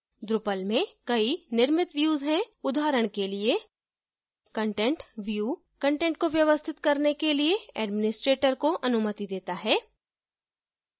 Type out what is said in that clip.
drupal में कई निर्मित views हैं उदाहरण के लिएcontent view कंटेंट को व्यवस्थित करने के लिए administrator को अनुमति देता है